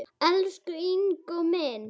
Elsku Ingó minn.